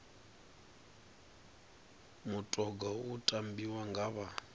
mutoga u tambiwa nga vha